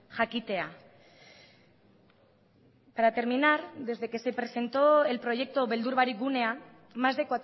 jakitea para terminar desde que se presentó el proyecto beldur barik gunea más de